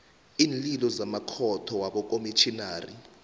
iinlilo zamakhotho wabokomitjhinari